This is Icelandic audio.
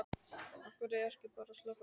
Af hverju ekki bara að sleppa þessu?